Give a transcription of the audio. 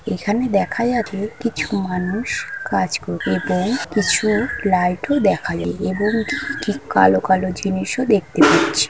এখানে দেখা যাবে কিছু মানুষ কাজ কর-- এবং কিছু লাইট ও দেখালে এবং ঠিক কালো কালো জিনিসও দেখতে পাচ্ছি।